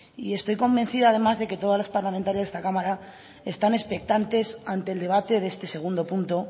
y estoy convencida además de que todas las parlamentarias de esta cámara están expectantes ante el debate de este segundo punto